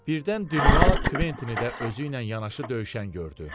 Birdən Dinua Kventini də özü ilə yanaşı döyüşən gördü.